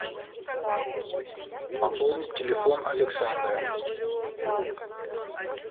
пополнить телефон александра